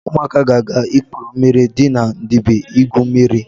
Ụmụaka ga-aga ikpere mmiri dị na Ndibe igwu mmiri.